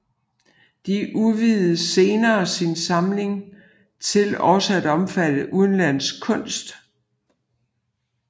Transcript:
Det udvidede senere sin samling til også at omfatte udenlandsk kunst